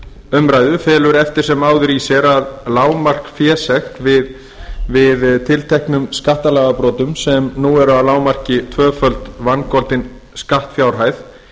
umræðu felur eftir sem áður í sér að lágmarksfésekt við tilteknum skattalagabrotum sem nú eru að lágmarki tvöföld vangoldin skattfjárhæð